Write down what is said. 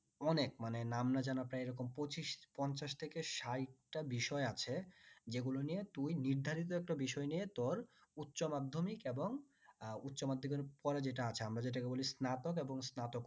অনেক মানে নাম না জানা প্রায় এরকম পঁচিশ পঞ্চাশ থেকে ষাইটটা বিষয় আছে যে গুলো নিয়ে তুই নির্ধারিত একটা বিষয় নিয়ে তোর উচ্চ মাধ্যমিক এবং উচ্চ মাধ্যমিক এর পরে যেটা আছে আমার যেটাকে বলি স্নাতক এবং স্নাতকোত্তর